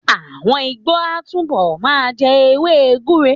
Àwọn Ìgbó á túbọ̀ ma jẹ́ èwe gbúre.